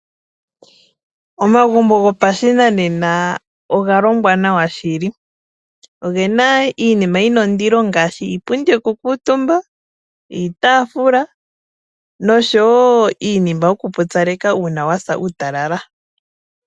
Omagumbo gopashinanena oga longwa nawa shili. Oge na iinima yi na ondilo ngaashi iipundi yokukuutumba, iitaafula nosho wo iinima yokupupyaleka uuna wa sa uutalala.